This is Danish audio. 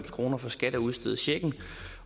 kroner for skat at udstede checken